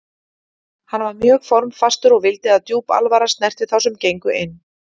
Hann var mjög formfastur og vildi að djúp alvara snerti þá sem gengu inn.